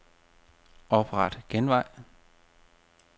Opret genvej.